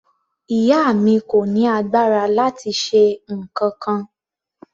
Ìyá mi kò ní agbára láti ṣe nǹkankan.